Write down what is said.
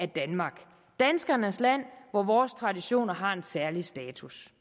danmark danskernes land hvor vores traditioner har en særlig status